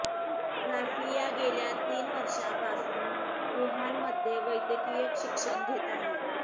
राफिया गेल्या तीन वर्षांपासून वुहानमध्ये वैद्यकीय शिक्षण घेत आहे